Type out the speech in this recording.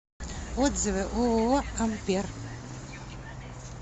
отзывы ооо ампер